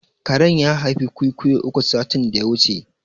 Karen ya haifi ƙwiƙwiyo uku satin da ya wuce